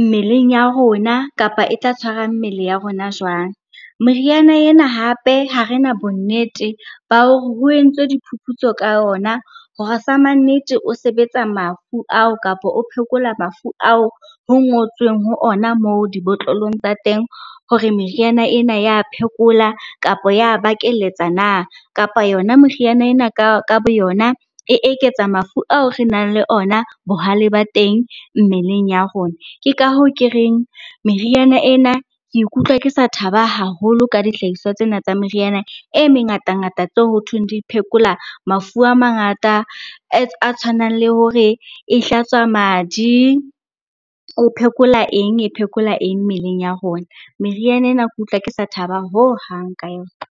mmeleng ya rona kapa e tla tshwara mmele ya rona jwang. Meriana ena hape ha rena bonnete ba hore ho entswe diphuputso ka yona hore sa mannete o sebetsa mafu ao kapa o phekola mafu ao ho ngotsweng ho ona moo dibotlolong tsa teng, hore meriana ena ya phekola kapa ya a bakeletsa na? Kapa yona meriana ena ka bo yona e eketsa mafu ao re nang le ona, bohale ba teng mmeleng ya rona. Ke ka hoo ke reng, meriana ena ke ikutlwa ke sa thaba haholo ka dihlahiswa tsena tsa meriana e mengatangata tseo ho thweng di phekola mafu a mangata a tshwanang le hore a hlatswa madi, o phekola eng? e phekola eng? mmeleng ya rona. Meriana ena ke utlwa ke sa thaba hohang ka yona.